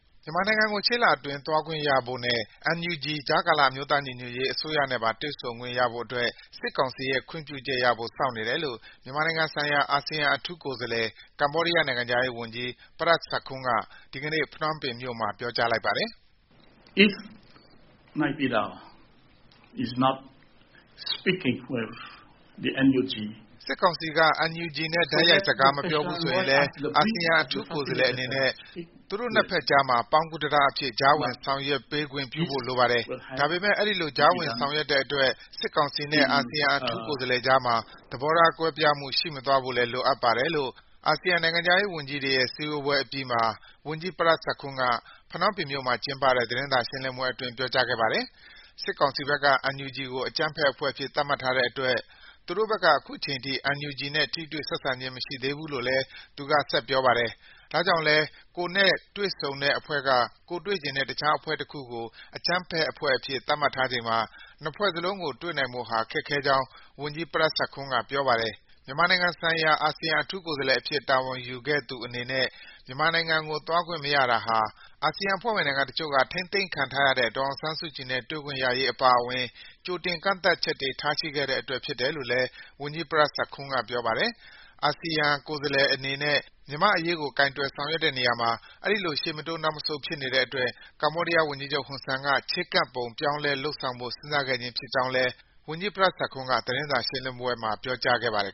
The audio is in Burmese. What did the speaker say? မြန်မာနိုင်ငံကို ရှေ့လအတွင်း သွားခွင့်ရဖို့နဲ့ ကြားကာလ အမျိုးသားညီညွတ်ရေးအစိုးရ နဲ့ပါ တွေ့ဆုံခွင့်ရဖို့ စစ်ကောင်စီရဲ့သဘောတူညီချက်ရဖို့ စောင့်နေတယ်လို့ မြန်မာနိုင်ငံဆိုင်ရာ အာဆီယံ အထူးကိုယ်စားလှယ် ကမ္ဘောဒီးယား နိုင်ငံခြားရေးဝန်ကြီး Prak Sokhonn က ဒီကေန့ ဖနွမ်းပင်မြို့မှာ ပြောကြားလိုက်ပါတယ်။ “စစ်ကောင်စီက NUG နဲ့ တိုက်ရိုက် စကားမပြောဘူးဆိုရင်လည်း အာဆီယံ အထူးကိုယ်စားလှယ်အနေနဲ့ သူတို့ နှစ်ဘက်ကြားမှာ ပေါင်းကူးတံတားအဖြစ် ကြားဝင် ဆောင်ရွက်ပေးခွင့်ပြုဖို့လိုပါတယ်။ ဒါပေမယ့် အဲဒီလို ကြားဝင်ဆောင်ရွက်တဲ့အတွက် စစ်ကောင်စီနဲ့ အာဆီယံ အထူးကိုယ်စားလှယ်ကြားမှာ သဘောထားကွဲပြားမှု ရှိမသွားဖို့လည်း လိုအပ်ပါတယ်” လို့ အာဆီယံနိုင်ငံခြားရေးဝန်ကြီးတွေရဲ့ စည်းဝေးပွဲအပြီး ဖနွမ်းပင်မြို့မှာကျင်းပတဲ့ သတင်းစာရှင်းလင်းပွဲအတွင်း ဝန်ကြီး Prak Sokhonn က ပြောခဲ့ပါတယ်။ စစ်ကောင်စီဘက်က NUG ကို အကြမ်းဖက်အဖွဲ့အဖြစ် သတ်မှတ်ထားတဲ့အတွက် အာဆီယံအနေနဲ့ ခုချိန်ထိ NUG နဲ့ ဆက်သွယ် ပြောဆိုတာမျိုး မရှိသေးဘူးလို့ လည်း သူကဆက်ပြောပါတယ်။ ဒါကြောင့်လည်း ကိုယ်နဲ့တွေ့ဆုံတဲ့အဖွဲ့က ကိုယ်တွေ့ချင်တဲ့ တခြားအဖွဲ့တခုကို အကြမ်းဖက်အဖွဲ့အဖြစ် သတ်မှတ်ထားချိန်မှာ နှစ်ဖွဲ့ စလုံးကို တွေ့နိုင်ဖို့ ခက်ခဲကြောင်း ဝန်ကြီး Prak Sokhonn က ပြောပါတယ်။ မြန်မာနိုင်ငံဆိုင်ရာ အာဆီယံ အထူးကိုယ်စားလှယ်အဖြစ် တာဝန်ယူထားသူအနေနဲ့ မြန်မာနိုင်ငံကို သွားခွင့်မရတာဟာ အာဆီယံအဖွဲ့ဝင်နိုင်ငံတချို့က ထိန်းသိမ်းခံထားရတဲ့ ဒေါ်အောင်ဆန်းစုကြည်နဲ့ တွေ့ဆုံခွင့်ရရေးအပါအဝင် ကြိုတင်ကန့်သတ် ချက်တွေ ထားရှိခဲ့တဲ့အတွက် ဖြစ်တယ်လို့လည်း ဝန်ကြီး Prak Sokhonn က ပြောပါတယ်။ အာဆီယံ ကိုယ်စားလှယ်အနေနဲ့ မြန်မာ့အရေးကို ကိုင်တွယ်ဆောင်ရွက်တဲ့နေရာမှာ အဲဒီလို ရှေ့မတိုး နောက်မဆုတ် ဖြစ်နေတဲ့အတွက် ကမ္ဘောဒီးယားဝန်ကြီးချုပ် ဟွန်ဆန်က ချဉ်းကပ်ပုံ ပြောင်းလဲလုပ်ဆောင်ဖို့ စဉ်းစားခဲ့ခြင်းဖြစ်ကြောင်းလည်း ဝန်ကြီး Prak Sokhonn က သတင်းစာရှင်းလင်းပွဲမှာ ပြောကြားခဲ့ပါတယ်